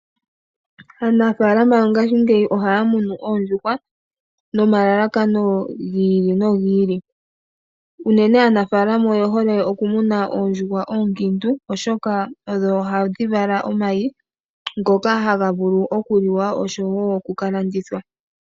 Aanafaalama yongashingeyi ohaya munu oondjuhwa nomalalakano gi ili nogi ili. Uunene aanafaalama oye hole okumuna oondjuhwa oonkiintu oshoka odho ohadhi vala omayi ngoka haga vulu okuliwa osho woo oku kalandithwa.